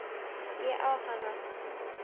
Ég á hana!